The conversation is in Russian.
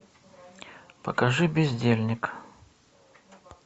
покажи бездельник